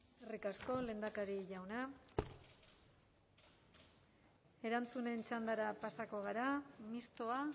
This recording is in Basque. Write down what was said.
eskerrik asko lehendakari jauna erantzunen txandara pasako gara mistoa